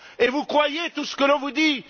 Vous croyez tout ce que l'on vous dit?